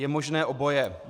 Je možné oboje.